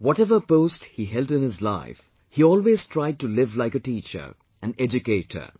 Whatever post he held in his life, he always tried to live like a teacher, an educator